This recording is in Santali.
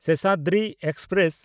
ᱥᱮᱥᱟᱫᱨᱤ ᱮᱠᱥᱯᱨᱮᱥ